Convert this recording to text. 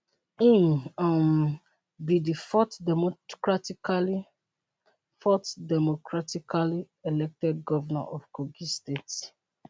im um be di fourth democratically fourth democratically elected govnor of kogi state